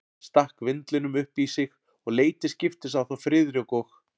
Hann stakk vindlinum upp í sig og leit til skiptis á þá Friðrik og